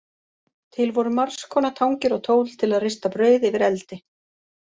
Til voru margskonar tangir og tól til að rista brauð yfir eldi.